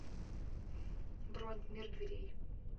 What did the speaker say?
бронь мир дверей